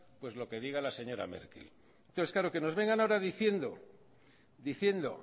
lo que diga la señora merkel pues claro que nos vengan ahora diciendo